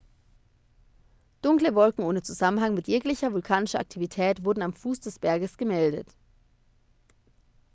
dunkle wolken ohne zusammenhang mit jeglicher vulkanischer aktivität wurden am fuß des berges gemeldet